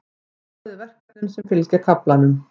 Skoðið verkefnin sem fylgja kaflanum.